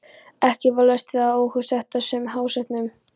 Ekki var laust við að óhug setti að sumum hásetunum.